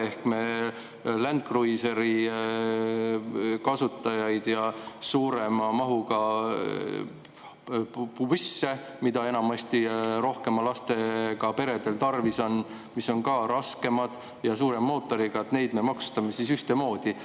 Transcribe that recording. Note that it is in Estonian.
Ehk siis Land Cruisereid ja busse, mida enamasti rohkemate lastega peredel tarvis on, mis on ka raskemad ja suurema mootoriga, me maksustame ühtemoodi.